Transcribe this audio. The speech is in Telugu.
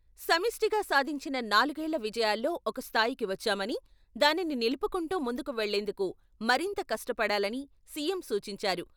సమిష్టిగా సాదించిన నాలుగేళ్ల విజయాల్లో ఒక స్థాయికి వచ్చామని, దానిని నిలుపుకుంటూ ముందుకు వెళ్లేందుకు మరింత కష్టపడాలని సీఎం సూచించారు.